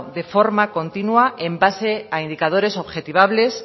de forma continua en base a indicadores objetivables